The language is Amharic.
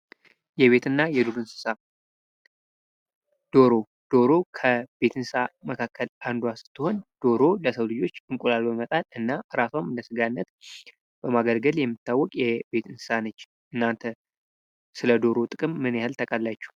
የቤትና የዱር እንስሳት ፦ ዶሮ ፦ ዶሮ ከቤት እንስሳ መካከል አንዱ ስትሆን ዶሮ ለሰው ልጆች እንቁላል በመጣል እና ራሷን በስጋነት በማገልገል የምትታወቅ የቤት እንስሳት ነች ። እናንተ ስለ ዶሮ ጥቅም ምን ያክል ታውቃላችሁ ?